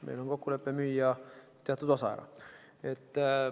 Meil on kokkulepe müüa ära teatud osa.